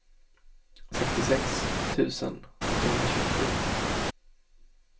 sextiosex tusen åttahundratjugosju